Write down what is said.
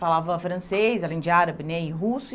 Falava francês, além de árabe né e russo.